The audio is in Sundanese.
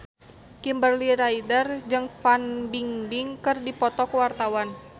Kimberly Ryder jeung Fan Bingbing keur dipoto ku wartawan